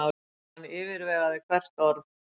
Hann yfirvegaði hvert orð.